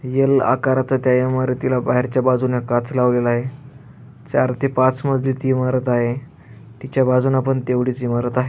L आकाराचा त्या इमारतीला बाहेरच्या बाजुने काच लावलेला आहे चार ते पाच मजली ती इमारत आहे तीच्या बाजुन पण तेवडीच इमारत आहे.